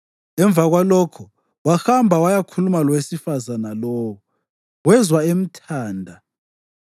Emva kwalokho wahamba wayakhuluma lowesifazane lowo, wezwa emthanda.